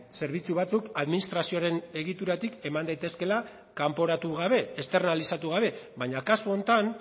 zerbitzu batzuk administrazioaren egituratik eman daitezkeela kanporatu gabe externalizatu gabe baina kasu honetan